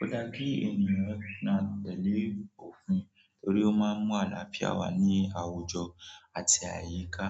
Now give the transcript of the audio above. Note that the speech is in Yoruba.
ó dá kí ènìyàn máa tẹ̀lé òfin torí ó máa ń mú àlàáfíà wá ní àwùjọ àti àyíká.